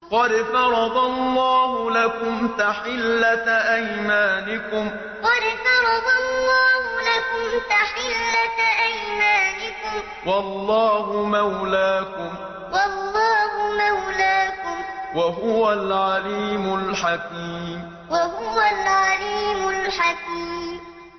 قَدْ فَرَضَ اللَّهُ لَكُمْ تَحِلَّةَ أَيْمَانِكُمْ ۚ وَاللَّهُ مَوْلَاكُمْ ۖ وَهُوَ الْعَلِيمُ الْحَكِيمُ قَدْ فَرَضَ اللَّهُ لَكُمْ تَحِلَّةَ أَيْمَانِكُمْ ۚ وَاللَّهُ مَوْلَاكُمْ ۖ وَهُوَ الْعَلِيمُ الْحَكِيمُ